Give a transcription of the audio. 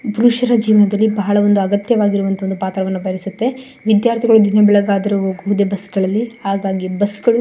ಬ್ರುಶ್ಯ್ರಾ ಜೀವನದಲ್ಲಿ ಬಹಳ ಅಗತ್ಯ ಒಂದು ಪಾತ್ರವನ್ನು ವಹಿಸುತ್ತೆ ವಿದ್ಯಾರ್ಥಿಗಳು ದಿನ ಬೆಳಗಾದರು ಒಂದು ಬಸ್ ಗಳಲ್ಲಿ ಹಾಗಾಗಿ ಬಸ್ ಗಳು--